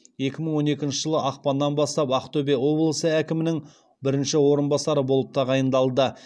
екі мың он екінші жылы ақпаннан бастап ақтөбе облысы әкімінің бірінші орынбасары болып тағайындалды